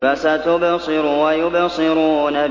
فَسَتُبْصِرُ وَيُبْصِرُونَ